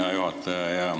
Hea juhataja!